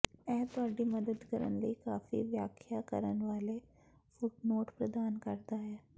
ਇਹ ਤੁਹਾਡੀ ਮਦਦ ਕਰਨ ਲਈ ਕਾਫ਼ੀ ਵਿਆਖਿਆ ਕਰਨ ਵਾਲੇ ਫੁਟਨੋਟ ਪ੍ਰਦਾਨ ਕਰਦਾ ਹੈ